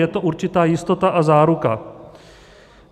Je to určitá jistota a záruka.